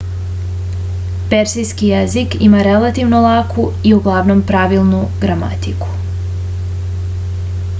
persijski jezik ima relativno laku i uglavnom pravilnu gramatiku